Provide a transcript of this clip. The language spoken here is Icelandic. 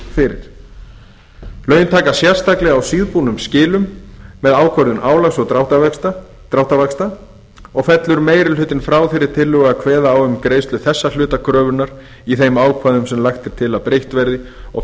fyrir lögin taka sérstaklega á síðbúnum skilum með ákvörðun álags og dráttarvaxta og fellur meiri hlutinn frá þeirri tillögu að kveða á um greiðslu þessa hluta kröfunnar í þeim ákvæðum sem lagt er til að breytt verði og